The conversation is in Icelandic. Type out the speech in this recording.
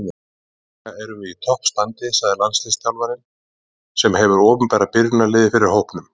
Líkamlega erum við í topp standi, sagði landsliðsþjálfarinn sem hefur opinberað byrjunarliðið fyrir hópnum.